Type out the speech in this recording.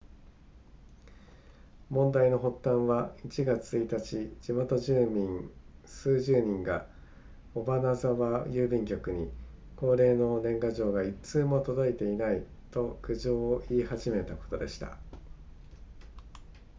問題の発端は1月1日地元住民数十人が尾花沢郵便局に恒例の年賀状が1通も届いていないと苦情を言い始めたことでした